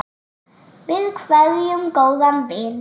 Við kveðjum góðan vin.